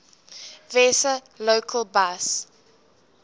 vesa local bus